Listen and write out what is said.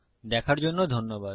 দেখার জন্য ধন্যবাদ